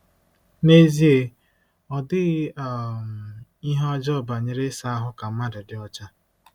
N'ezie, ọ dịghị um ihe ọjọọ banyere ịsa ahụ ka mmadụ dị ọcha.